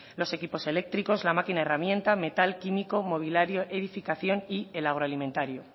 los equipos eléctricos la máquina herramienta metal químico mobiliario edificación y el agroalimentario